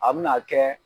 A bɛna kɛ